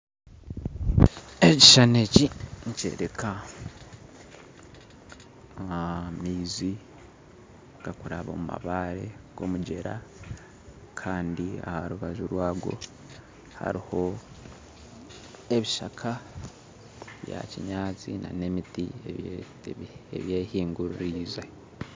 Ekishushani eki nikyoreka amaizi garikuraba omu mabaare g'omugyera kandi aha rubaju rwago hariho ebishaka bya kinyaatsi n'emiti ebyehinguririize